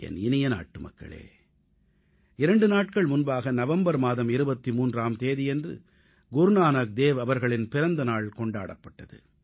என் இனிய நாட்டுமக்களே 2 நாட்கள் முன்பாக நவம்பர் மாதம் 23ஆம் தேதியன்று குருநானக் தேவ் அவர்களின் பிறந்த நாள் கொண்டாடப்பட்டது